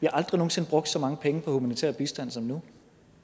aldrig nogen sinde brugt så mange penge på humanitær bistand som nu